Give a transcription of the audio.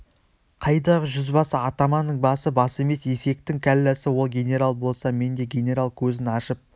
қайдағы жүзбасы атаманның басы бас емес есектің кәлләсі ол генерал болса мен де генерал көзін ашып